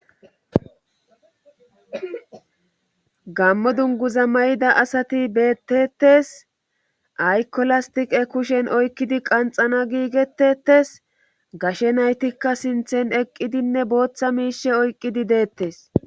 gammo dungu za may7ida asati beettetes aykolastiqe kushen oykkidi qanxana giigetetes gashe naytikka sinthen eqqidinne booththa miishe oyqqidi deettes